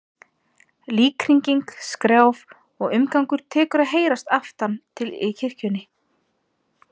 Líkhringing, skrjáf og umgangur tekur að heyrast aftan til í kirkjunni.